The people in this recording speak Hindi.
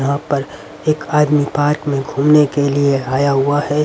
यहां पर एक आदमी पार्क में घूमने के लिए आया हुआ है.